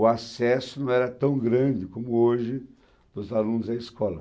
O acesso não era tão grande como hoje dos alunos à escola.